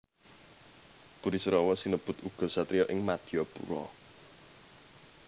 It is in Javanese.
Burisrawa sinebut uga satriya ing Madyapura